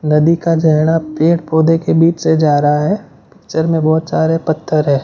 नदी का जेहडा पेड़ पौधे के बीच से जा रहा है पिक्चर में बहोत सारे पत्थर है।